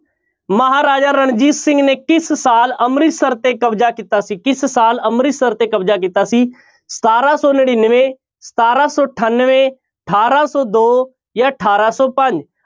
ਮਹਾਰਾਜ ਰਣਜੀਤ ਸਿੰਘ ਨੇ ਕਿਸ ਸਾਲ ਅੰਮ੍ਰਤਿਸਰ ਤੇ ਕਬਜ਼ਾ ਕੀਤਾ ਸੀ ਕਿਸ ਸਾਲ ਅੰਮ੍ਰਿਤਸਰ ਤੇ ਕਬਜ਼ਾ ਕੀਤਾ ਸੀ ਸਤਾਰਾਂ ਸੌ ਨੜ੍ਹਿਨਵੇਂ, ਸਤਾਰਾਂ ਸੌ ਅਠਾਨਵੇਂ, ਅਠਾਰਾਂ ਸੌ ਦੋ ਜਾਂ ਅਠਾਰਾਂ ਸੌ ਪੰਜ।